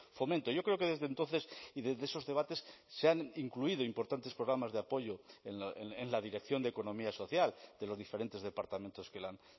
fomento yo creo que desde entonces y desde esos debates se han incluido importantes programas de apoyo en la dirección de economía social de los diferentes departamentos que la han